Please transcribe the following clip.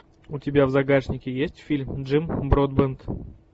у тебя в загашнике есть фильм джим бродбент